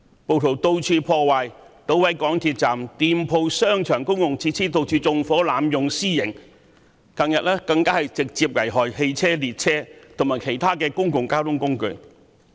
暴徒四處破壞，搗毀港鐵站、店鋪、商場及公共設施，又四處縱火、濫用私刑，近日更直接危害汽車、列車，以及其他公共交通工具。